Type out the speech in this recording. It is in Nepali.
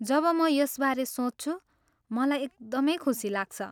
जब म यसबारे सोच्छु, मलाई एकदमै खुसी लाग्छ।